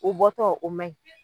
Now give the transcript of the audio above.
U bɔtɔ o mɛn.